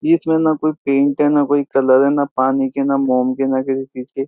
बीच मे ना कोई पेंट है ना कोई कलर है ना पानी के ना मोम के ना किसी चीज के --